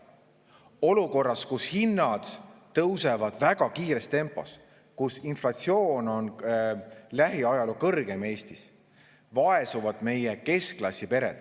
Olukorras, kus hinnad tõusevad väga kiires tempos, kus inflatsioon on lähiajaloo kõrgeim, vaesuvad Eestis ka keskklassi pered.